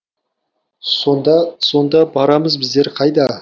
сонда сонда барамыз біздер қайда